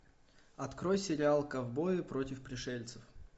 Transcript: открой сериал ковбои против пришельцев